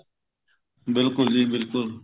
ਬਿਲਕੁਲ ਜੀ ਬਿਲਕੁਲ